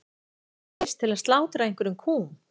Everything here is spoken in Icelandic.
Þau gætu neyðst til að slátra einhverjum kúm.